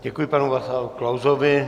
Děkuji panu Václavu Klausovi.